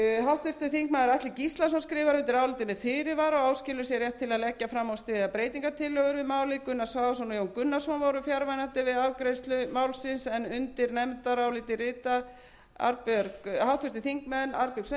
háttvirtir þingmenn atli gíslason skrifar undir álitið með fyrirvara og áskilur sér rétt til að leggja fram og styðja breytingartillögur við málið gunnar svavarsson og jón gunnarsson voru fjarverandi við afgreiðslu málsins en undir nefndarálitið rita háttvirtir þingmenn arnbjörg